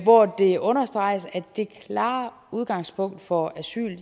hvor det understreges at det klare udgangspunkt for asyl